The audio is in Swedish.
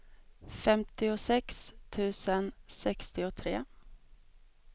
femtiosex tusen sextiotre